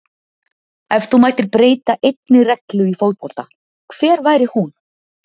Ef þú mættir breyta einni reglu í fótbolta, hver væri hún?